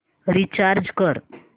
recharge कर